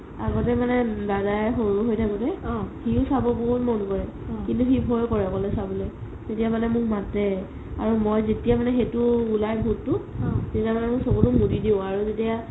আগতে মানে দাদাই সৰু হৈ থাকোতে সিও চাব বহুত মন কৰে কিন্তু সি ভই কৰে অকলে চাবলৈ তেতিয়া মানে মোক মাতে আৰু মই যেতিয়া মানে সেইটো উলাই ভুতটো তেতিয়া মানে মই চকুটো মুদি আৰু যেতিয়া